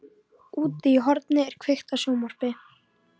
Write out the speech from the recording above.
Úti í horni er kveikt á sjónvarpi.